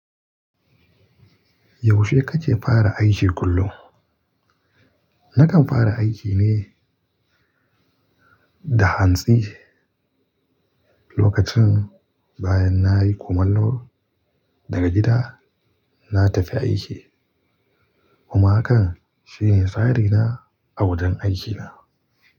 Yaushe kake fara aiki kullum? Nakan fara aiki ne da hantsi, lokacin baya nayi komallo daga gida na tafi aiki. Kuma hakan shine tsari na a wajen aikina.